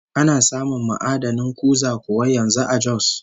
Ana samun ma'adanin kuza kuwa yanzu a Jos?